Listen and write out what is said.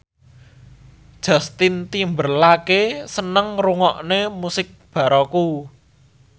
Justin Timberlake seneng ngrungokne musik baroque